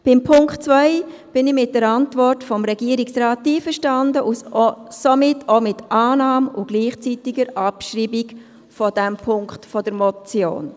Bei Punkt 2 bin ich mit der Antwort des Regierungsrates einverstanden und somit auch mit Annahme und gleichzeitiger Abschreibung dieses Punkts der Motion.